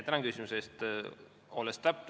Tänan küsimuse eest!